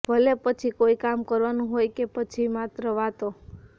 ભલે પછી કોઈ કામ કરવાનું હોય કે પછી માત્ર વાતો